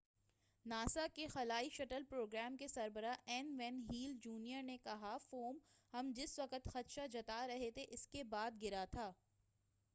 NASA کے خلائی shuttle programme کے سربراہ این وین ہیل جونیئر نے کہا فوم""ہم جس وقت خدشہ جتا رہے تھے"اسکے بعد گرا تھا۔